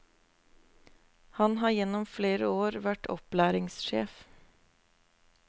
Han har gjennom flere år vært opplæringssjef.